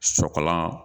Sɔkɔlan